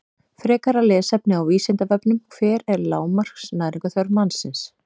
Frekara lesefni á Vísindavefnum: Hver er lágmarks næringarþörf mannsins?